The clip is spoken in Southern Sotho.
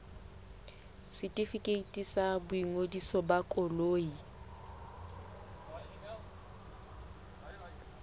setefikeiti sa boingodiso ba koloi